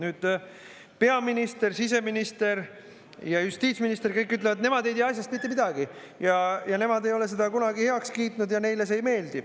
Nüüd peaminister, siseminister ja justiitsminister, kõik ütlevad, et nemad ei tea asjast mitte midagi ja nemad ei ole seda kunagi heaks kiitnud ja neile see ei meeldi.